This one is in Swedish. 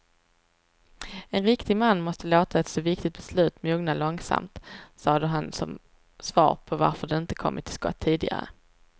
En riktig man måste låta ett så viktigt beslut mogna långsamt, sade han som svar på varför de inte kommit till skott tidigare.